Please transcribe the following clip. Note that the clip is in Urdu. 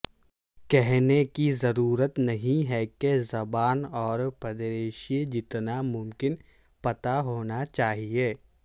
کہنے کی ضرورت نہیں کہ زبان اور پدریشی جتنا ممکن پتہ ہونا چاہیئے